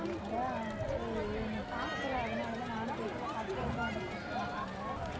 உம் அதான் சேரி நீ பாக்குற அதுனால தான் நானும் கேட்கல கற்ப்கம் அக்காவும் உன் கிட்ட கேட்டுறக்க மாட்டங்க